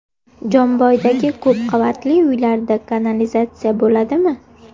Jomboydagi ko‘p qavatli uylarda kanalizatsiya bo‘ladimi?.